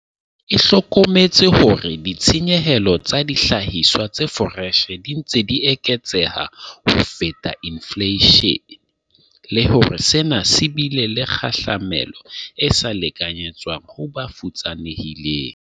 E hlokometse hore ditshenyehelo tsa dihlahiswa tse foreshe di ntse di eketseha ho feta infleishene, le hore sena se bile le kgahlamelo e sa lekanyetswang ho ba futsanehileng.